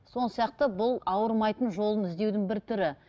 сияқты бұл ауырмайтын жолын іздеудің бір түрі